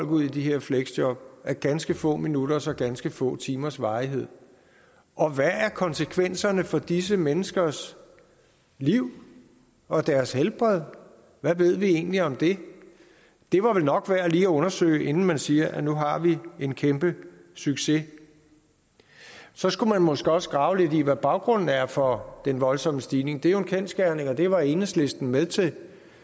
ud i de her fleksjob af ganske få minutters og ganske få timers varighed og hvad er konsekvenserne for disse menneskers liv og deres helbred hvad ved vi egentlig om det det var vel nok værd lige at undersøge inden man siger at nu har vi en kæmpe succes så skulle man måske også grave lidt i hvad baggrunden er for den voldsomme stigning det er jo en kendsgerning og det var enhedslisten med til